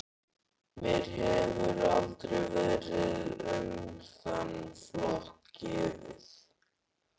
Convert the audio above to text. Mér hefur aldrei verið um þann flokk gefið.